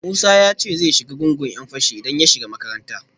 Musa ya ce zai shiga gungun ‘yan fashi idan ya shiga makaranta